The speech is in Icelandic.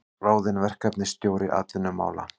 Ráðinn verkefnisstjóri atvinnumála